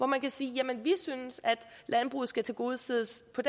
man kan sige at man synes landbruget skal tilgodeses på